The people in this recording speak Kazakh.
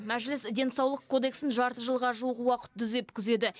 мәжіліс денсаулық кодексін жарты жылға жуық уақыт түзеп күзеді